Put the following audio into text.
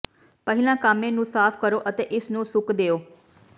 ਪਹਿਲਾਂ ਕਾਮੇ ਨੂੰ ਸਾਫ਼ ਕਰੋ ਅਤੇ ਇਸਨੂੰ ਸੁੱਕ ਦਿਓ